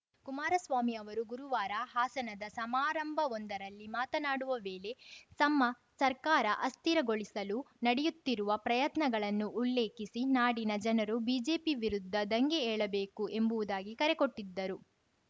ಕುಮಾರಸ್ವಾಮಿ ಅವರು ಗುರುವಾರ ಹಾಸನದ ಸಮಾರಂಭವೊಂದರಲ್ಲಿ ಮಾತನಾಡುವ ವೇಳೆ ತಮ್ಮ ಸರ್ಕಾರ ಅಸ್ಥಿರಗೊಳಿಸಲು ನಡೆಯುತ್ತಿರುವ ಪ್ರಯತ್ನಗಳನ್ನು ಉಲ್ಲೇಖಿಸಿ ನಾಡಿನ ಜನರು ಬಿಜೆಪಿ ವಿರುದ್ಧ ದಂಗೆ ಏಳಬೇಕು ಎಂಬುವುದಾಗಿ ಕರೆ ಕೊಟ್ಟಿದ್ದರು